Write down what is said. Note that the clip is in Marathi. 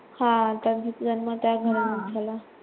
हा त्यांचा जन्म त्या घराण्यात झाला.